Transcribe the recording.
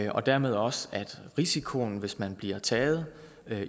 og dermed også til at risikoen hvis man bliver taget